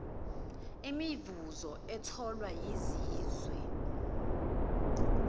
imivuzo etholwa yizizwe